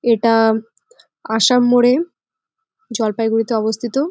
এটা আসাম মোড়ে জলপাইগুড়ি তে অবস্থিত।